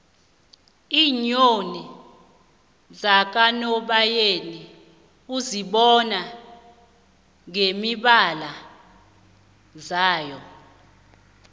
iinyoni zakanobayeni uzibona ngemibala yazo